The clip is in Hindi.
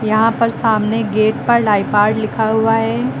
यहां पर सामने गेट पर लिखा हुआ है।